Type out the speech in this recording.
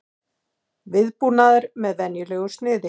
Viðbúnaður með venjulegu sniði